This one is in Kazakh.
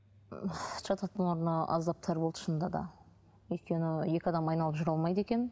жататын орны аздап тар болды шынында да өйткені екі адам айналып жүре алмайды екен